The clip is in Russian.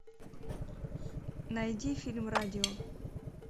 найди фильм радио